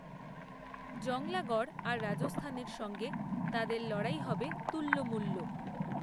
জংলাগড়আর রাজস্থানের সঙ্গে তাদের লড়াই হবে তুল্যমূল্য